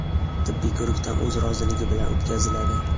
tibbiy ko‘rikdan o‘z roziligi bilan o‘tkaziladi.